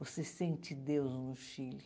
Você sente Deus no Chile.